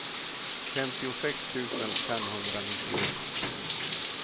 femtiosex tusen femhundranittioett